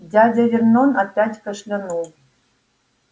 дядя вернон опять кашлянул